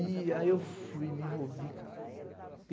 E aí eu fui, me envolvi, cara.